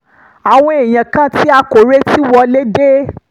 àwọn èèyàn kan tí a kò retí wọlé dé